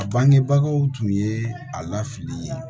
A bangebagaw tun ye a lafili ye